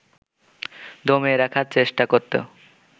দমিয়ে রাখার চেষ্টা করত